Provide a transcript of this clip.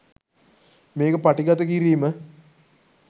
මේක පටිගත කිරීම